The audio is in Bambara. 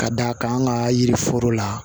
Ka da kan an ka yiri foro la